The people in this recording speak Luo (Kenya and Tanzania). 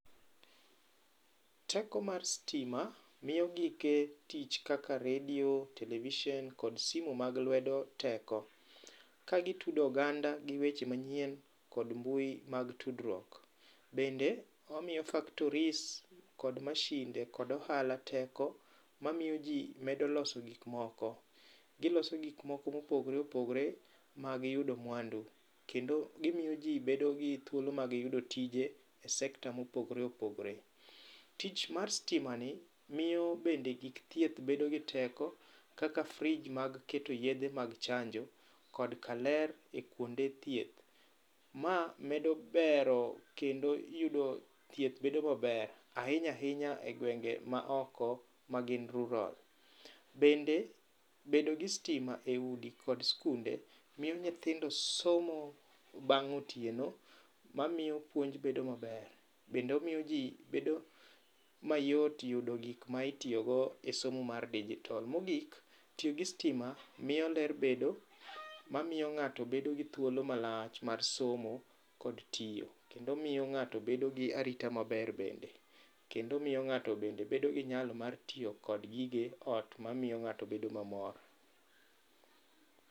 Teko mar stima miyo gike tich kaka redio, televishen kod simu mag lwedo teko kagitudo oganda gi weche manyien kod mbui mag tudruok. Bende omiyo factories kod mashinde kod ohala teko mamio jii medo loso gik moko. Giloso gikmoko mopogore opogore mag yudo mwandu kendo gimio jii bedogi thuolo mag yudo tije e sector mopogore opogore. Tich mar stimani miyo bende gik thieth bedogi teko kaka fridge mag keto yedhe mag chanjo kod kaler kuonde thieth. Ma medo bero kendo yudo thieth bedo maber ainya ainya e gwenge maoko magin rural. Bende bedogi stima eudi kod skunde miyo nyithindo somo bang' otieno mamio puonj bedo maber. Bende omiyo jii bedo mayot yudo gik ma itiyogo e somo mar digital. Mogik tiyogi stima miyo ler bedo mamio ng'ato bedogi thuolo malach mar somo kod tio. Kendo miyo ng'ato bedogi arita maber bende. Kendo omiyo ng'ato bende bedogi nyalo mar tiyo kod gige ot mamiyo ng'ato bedo mamor.